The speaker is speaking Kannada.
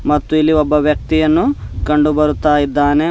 ಮತ್ತು ಇಲ್ಲಿ ಒಬ್ಬ ವ್ಯಕ್ತಿಯನ್ನು ಕಂಡು ಬರುತ್ತಾ ಇದ್ದಾನೆ.